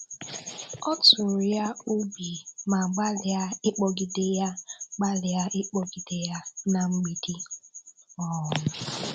Ọ tụrụ ya ube ma gbalịa ịkpogide ya gbalịa ịkpogide ya na mgbidi. um